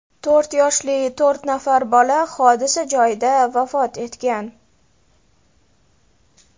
To‘rt yoshli to‘rt nafar bola hodisa joyida vafot etgan.